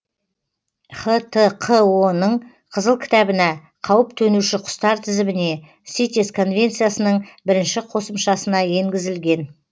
хтқо ның қызыл кітабына қауіп төнуші құстар тізіміне ситес конвенциясының бірінші қосымшасына енгізілген